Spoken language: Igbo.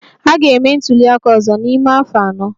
A ga-eme ntuli aka ọzọ n'ime afọ anọ.